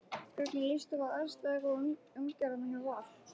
Hvernig líst þér á aðstæður og umgjörðina hjá Val?